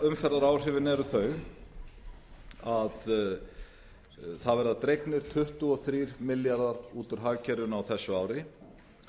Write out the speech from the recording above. umferðar áhrifin eru þau að það verða dregnir tuttugu og þrjá milljarða út úr hagkerfinu á þessu ári